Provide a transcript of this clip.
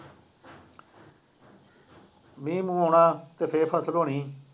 ਮੀਂਹ ਮੂੰਹ ਆਉਣਾ ਅਤੇ ਫੇਰ ਫਸਲ ਹੋਣੀ